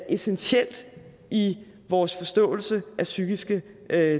essentielt i vores forståelse af psykiske